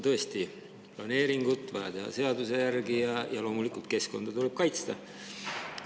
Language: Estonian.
Tõesti, planeeringud on vaja teha seaduse järgi ja loomulikult keskkonda tuleb kaitsta.